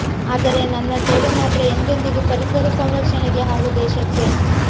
ಆದರೆ ನನ್ನ ಸೇವೆ ಮಾತ್ರ ಎಂದೆಂದಿಗೂ ಪರಿಸರ ಸಂರಕ್ಷಣೆಗೆ ಹಾಗೂ ದೇಶಕ್ಕೆ